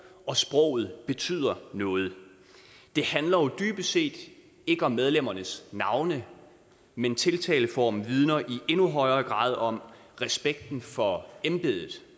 og sproget betyder noget det handler jo dybest set ikke om medlemmernes navne men tiltaleformen vidner i endnu højere grad om respekten for embedet